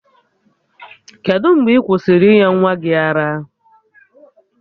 Kedụ mgbe ị kwụsịrị ịnye nwa gị ara?